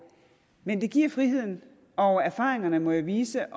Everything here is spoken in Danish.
men det giver friheden og erfaringerne må jo vise